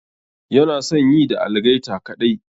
Yana son yi da algaita kaɗai.